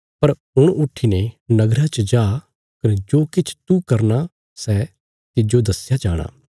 पर हुण उट्ठीने नगरा च जा कने जो किछ तू करना सै तिज्जो दस्या जाणा